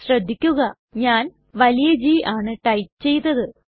ശ്രദ്ധിക്കുക ഞാൻ വലിയ G ആണ് ടൈപ്പ് ചെയ്തത്